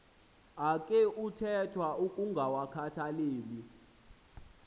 akhe kuthethwa ukungawakhathaleli